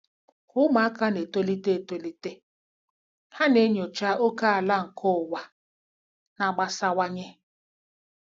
Ka ụmụaka na-etolite etolite, ha na-enyocha ókèala nke ụwa na-agbasawanye.